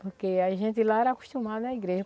Porque a gente lá era acostumada à igreja.